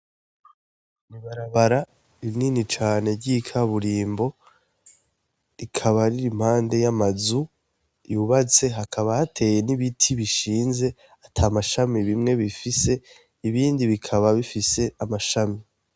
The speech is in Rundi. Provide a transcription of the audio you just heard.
Ni ibarabara nini cane ry'ikaburimbo, rikaba riri impande y'amazu yubatse, hakaba hateye n'ibiti bishinze ata mashami bimwe bifise ibindi bikaba bifise amashami.